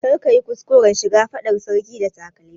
Kar ka yi kuskuran shiga fadar sarki da takalmi!